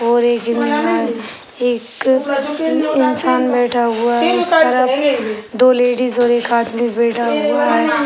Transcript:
और एक एक इन्सान बैठा हुआ है। उस तरफ दो लेडीज और एक आदमी बैठा हुवा है।